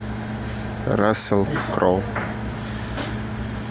рассел кроу